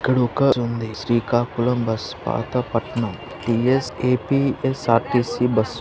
ఇక్కడొక బస్సుంది శ్రీకాకుళం బస్ పాతపట్నం.